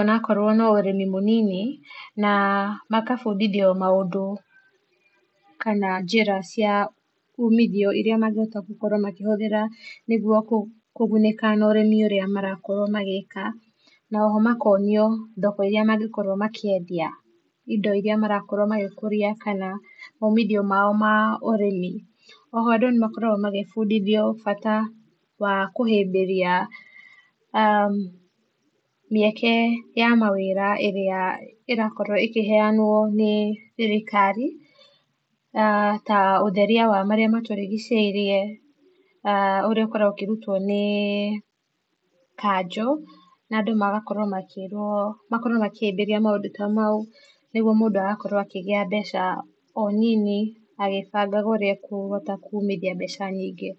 onakorwo no ũrĩmĩ mũnini na makabĩndithio maũndũ kana njĩra cia ũmithio irĩa magĩhota gũkorwo makĩhũthira nĩgũo kũgũnĩka na ũrĩmi ũrĩa marakorwo magĩka na oho makonio thoko irĩa mangĩkorwo makĩendia indo iria marakorwo magĩkũria kana maũmĩthio mao ma ũrĩmi oho andũ nĩmakoragwo magĩbũnduithio bata wa kũhĩmbĩria [uum] mĩeke ya mawĩra ĩrĩa ĩrakorwo ĩkĩheanwo nĩ thirikari na ta ũtheria wa marĩa matũrĩgĩcĩirie [uum] ũrĩa ũkoragwo ũkĩrũtwo nĩ kanjũ na andũ miagakorwo makĩrwo makĩhĩmbĩria mũndũ ta maũ nĩgũo mũndũ agakorwo akĩgĩa mbeca o nini agĩbangaga ũrĩa ekũhota kũmĩthia mbeca nyingĩ.